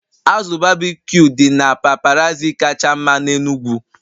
Azụ berbecue dị na paparazzi kacha mma n'Enugwu